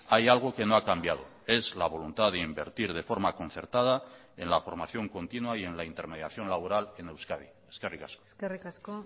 hay algo que no ha cambiado es la voluntad de invertir de forma concertada en la formación continua y en la intermediación laboral en euskadi eskerrik asko eskerrik asko